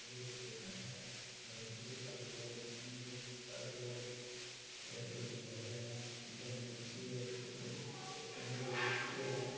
थोड़ो सो घर है एव बढ़ो सार को है हरिया कलर को घर है डिज़ाइन हो रखी ऊपर --